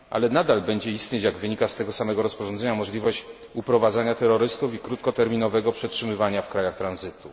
Nadal jednak będzie istnieć, jak wynika z tego samego rozporządzenia, możliwość uprowadzania terrorystów i krótkoterminowego przetrzymywania w krajach tranzytu.